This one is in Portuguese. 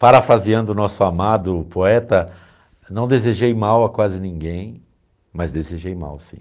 Parafraseando o nosso amado poeta, não desejei mal a quase ninguém, mas desejei mal sim.